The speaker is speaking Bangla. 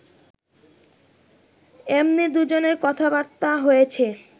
এমনি দুজনের কথাবার্তা হয়েছে